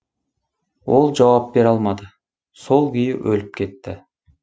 ол жауап бере алмады сол күйі өліп кетті